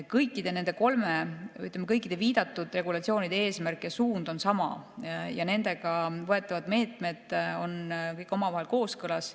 Kõikide nende, ütleme, viidatud regulatsioonide eesmärk ja suund on sama ja nendega võetavad meetmed on kõik omavahel kooskõlas.